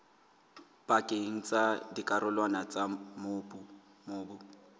pakeng tsa dikarolwana tsa mobu